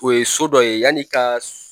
O ye so dɔ ye yann'i ka